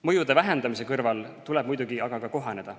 Mõjude vähendamise kõrval tuleb muidugi aga ka kohaneda.